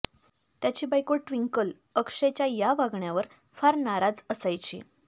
त्याची बायको ट्विंकल अक्षयच्या या वागण्यावर फार नाराज असायची